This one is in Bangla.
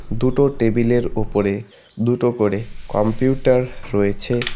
দুটো টেবিলের ওপরে দুটো করে কম্পিউটার রয়েছে।